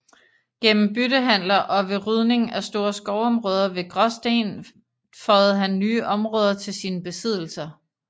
Gennem byttehandler og ved rydning af store skovområder ved Graasten føjede han nye områder til sine besiddelser